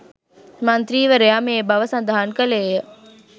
මන්ත්‍රීවරයා මේ බව සඳහන් කළේය